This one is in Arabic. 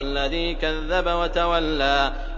الَّذِي كَذَّبَ وَتَوَلَّىٰ